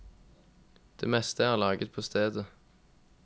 Det meste er laget på stedet.